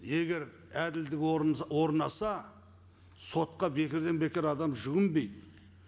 егер әділдік орнаса сотқа бекерден бекер адам жүгінбейді